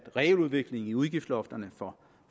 realudvikling i udgiftslofterne for